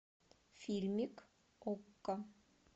фильмик окко